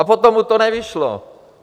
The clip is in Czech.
A potom mu to nevyšlo.